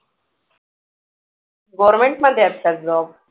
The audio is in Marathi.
Government मध्ये आहे का job